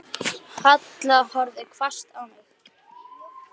Halla horfði hvasst á mig.